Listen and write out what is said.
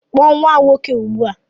Kpọọ nwa m nwoke ugbu a!